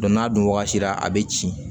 n'a dun wagati la a bɛ ci